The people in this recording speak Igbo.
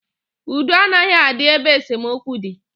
Udo anaghị adị ebe esemokwu dị.